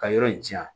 Ka yɔrɔ in jan